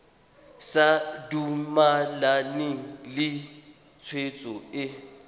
sa dumalane le tshwetso e